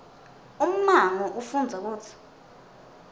ummango ufundza kutsi